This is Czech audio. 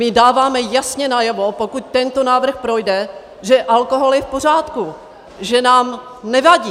My dáváme jasně najevo, pokud tento návrh projde, že alkohol je v pořádku, že nám nevadí!